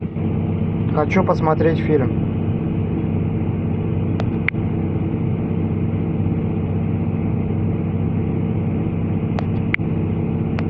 хочу посмотреть фильм